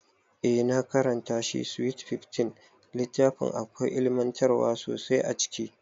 Eh na karanta shi SWEET SIXTEEN, littafin akwai ilimantarwa sosai a ciki